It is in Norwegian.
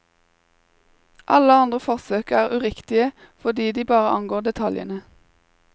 Alle andre forsøk er uriktige fordi de bare angår detaljene.